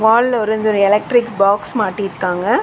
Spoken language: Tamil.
வால்ல ஒரு இந்த ஒரு எலக்ட்ரிக் பாக்ஸ் மாட்டிர்க்காங்க.